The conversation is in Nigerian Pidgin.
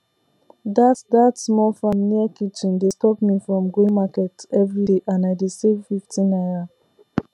that that small farm near kitchen dey stop me from going market everyday and i dey save 50 naira